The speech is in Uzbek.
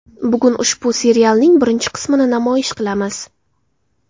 Bugun ushbu serialning birinchi qismini namoyish qilamiz.